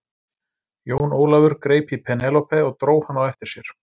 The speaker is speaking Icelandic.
Jón Ólafur greip í Penélope og dró hana á eftir sér.